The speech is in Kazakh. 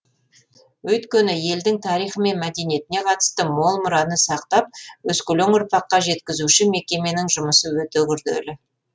өйткені елдің тарихы мен мәдениетіне қатысты мол мұраны сақтап өскелең ұрпаққа жеткізуші мекеменің жұмысы өте күрделі